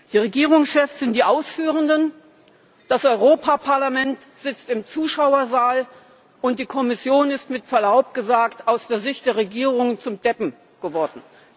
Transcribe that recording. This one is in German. Die Regierungschefs sind die Ausführenden, das Europaparlament sitzt im Zuschauersaal, und die Kommission ist mit Verlaub gesagt aus der Sicht der Regierung zum Deppen geworden.